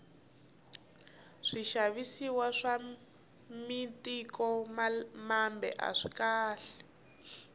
swixavisiwa swa mitiko mambe aswikahle